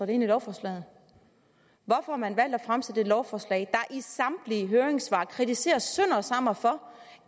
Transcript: det ind i lovforslaget hvorfor har man valgt at fremsætte et lovforslag i samtlige høringssvar kritiseres sønder og sammen for